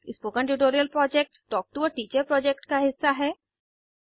spoken tutorial project talk to a teacher project का हिस्सा है